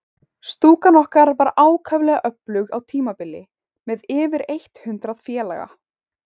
Stúkan okkar var ákaflega öflug á tímabili, með yfir eitt hundrað félaga.